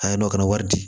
A y'a dɔn ka na wari di